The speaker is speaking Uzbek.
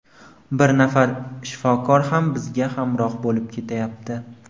Bir nafar shifokor ham bizga hamroh bo‘lib ketayapti.